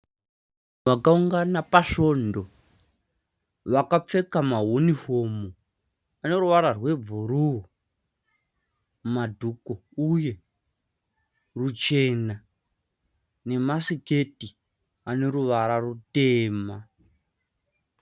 Vakaungana pasvondo vakapfeka mahunifomu ane ruvara rwebhuruu madhuku uye ruchena nemasiketi ane ruvara rutema.